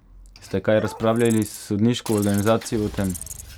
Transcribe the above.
Ste kaj razpravljali s sodniško organizacijo o tem?